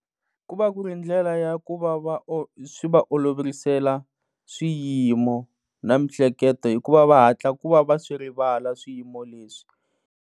Ku va ku ri ndlela ya ku va va swi va oloverisela swiyimo na miehleketo hikuva va hatla ku va va swi rivala swiyimo leswi.